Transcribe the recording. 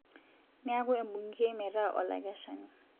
Neeku embungei meeta olakeshani